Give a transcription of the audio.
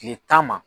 Kile tan ma